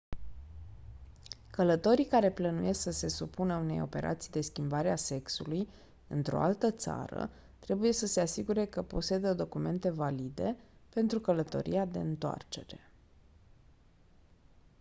călătorii care plănuiesc să se supună unei operații de schimbare a sexului într-o altă țară trebuie să se asigure că posedă documente valide pentru călătoria de întoarcere